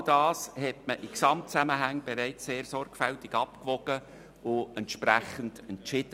All das hat man in Gesamtzusammenhängen bereits sehr sorgfältig abgewogen und entsprechend entschieden.